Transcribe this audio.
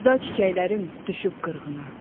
Sevda çiçəklərim düşüb qırğına.